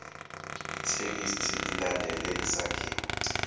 ithekisthi ilandele isakhiwo